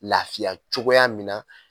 Lafiya cogoya min na